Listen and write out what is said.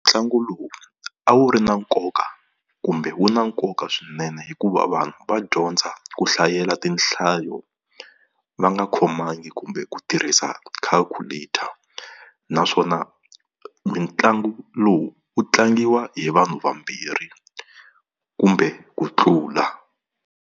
Ntlangu lowu a wu ri na nkoka kumbe wu na nkoka swinene hikuva vanhu va dyondza ku hlayela tinhlayo va nga khomangi kumbe ku tirhisa calculat-a, naswona mitlangu lowu wu tlangiwa hi vanhu vambirhi kumbe ku tlula.